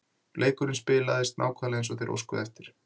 Leikurinn spilaðist nákvæmlega eins og þeir óskuðu eftir.